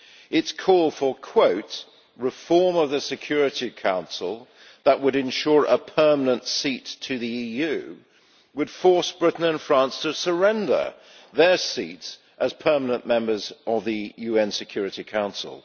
Its call for ʽreform of the Security Council that would ensure a permanent seat to the EUʼ would force Britain and France to surrender their seats as permanent members of the UN Security Council.